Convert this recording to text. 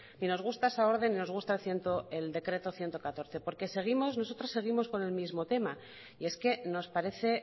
ni nos gusta esa orden ni nos gusta el decreto ciento catorce porque nosotros seguimos con el mismo tema y es que nos parece